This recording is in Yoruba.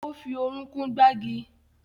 Ó fi orúnkún gbági